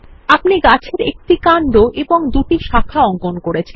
আপনি গাছের একটি কান্ড ও দুটি শাখা অঙ্কন করেছেন